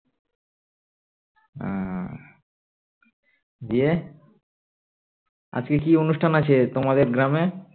হম দিয়ে আজকে কি অনুষ্ঠান আছে তোমাদের গ্রাম এ